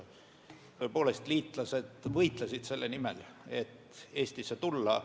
Tõepoolest, liitlased võistlesid selle nimel, et Eestisse tulla.